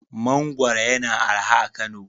Mangwaro yana araha a Kano.